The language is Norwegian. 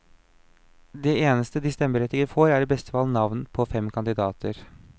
Det eneste de stemmeberettigede får, er i beste fall navn på fem kandidater.